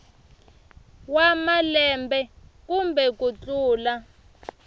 wa malembe kumbe ku tlula